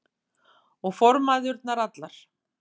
Og formæðurnar allar.